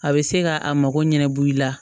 A bɛ se ka a mako ɲɛnɛbɔ i la